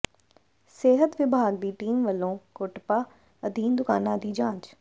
ਸਿਹਤ ਵਿਭਾਗ ਦੀ ਟੀਮ ਵਲੋਂ ਕੋਟਪਾ ਅਧੀਨ ਦੁਕਾਨਾਂ ਦੀ ਜਾਂਚ